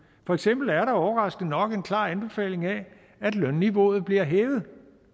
for eksempel er der overraskende nok en klar anbefaling af at lønniveauet bliver hævet